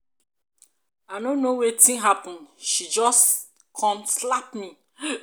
i no know wetin happen she just come slap me.